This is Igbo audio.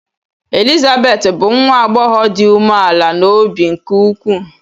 Elizabeth bụ nwa agbọghọ dị umeala n’obi nke ukwuu.